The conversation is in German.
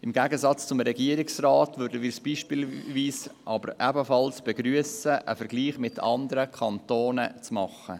Im Gegensatz zum Regierungsrat würden wir es beispielsweise ebenfalls begrüssen, wenn ein Vergleich mit anderen Kantonen gemacht würde.